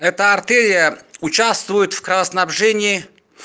эта артерия участвует в кровоснабжении